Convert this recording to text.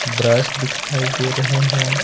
Brush दिखाई दे रहे हैं।